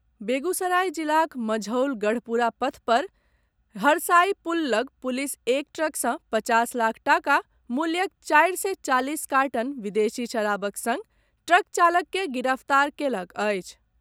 बेगूसराय जिलाक मंझौल गढ़पुरा पथ पर हरसाई पुल लऽग पुलिस एक ट्रकसँ पचास लाख टाका मूल्यक चारि सय चालीस कार्टन विदेशी शराबक सङ्ग ट्रक चालककेँ गिरफ्तार कयलक अछि।